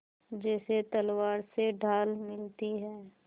जैसे तलवार से ढाल मिलती है